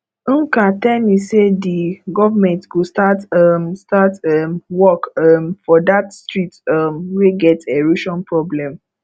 ndka tell me say the government go start um start um work um for dat street um wey get erosion problem